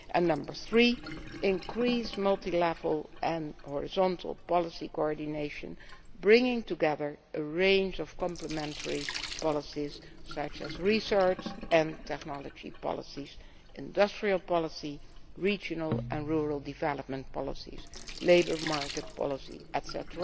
Number three, increase multi level and horizontal policy coordination, bringing together a range of complementary policies such as research and technology policies, industrial policy, regional and rural development policies, labour market policy, etc.,